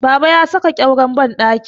Baba ya sa ƙyauren bandaki